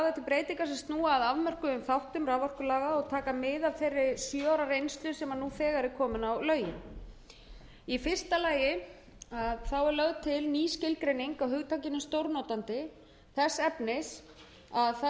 breytingar sem snúa að afmörkuðum þáttum raforkulaga og taka mið af þeirri sjö ára reynslu sem nú þegar er komin á lögin í fyrsta lagi er lögð til ný skilgreining á hugtakinu stórnotandi þess efnis að það sé